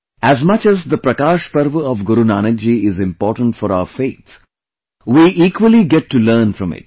As much as the Prakash Parv of Guru Nanak ji is important for our faith, we equally get to learn from it